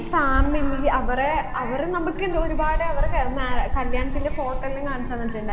family അവരെ അവരെ നമ്മക്കെന്ത് ഒരുപാട് അവരെ കല്യാണത്തിൻെറ photo എല്ലും കാണിച്ച് തന്നിട്ടുണ്ടായി